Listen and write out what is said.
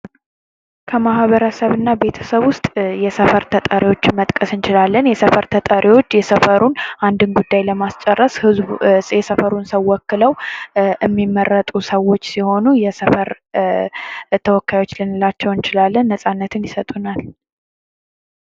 ከማህበረሰብ እና ቤተሰብ ውስጥ የሰፈር ተጠሪዎችን መጥቀስ እንችላለን። የሰፈር ተጠሪዎች የሰፈሩን አንድን ጉዳይ ለማስጨረስ ህዝቡ የሰፈሩን ሰው ወክለው እሚመረጡ ሰዎች ሲሆኑ የሰፈር ተወካዮች ልንላቸው እንችላለን። ነፃነትን ይሰጡናል።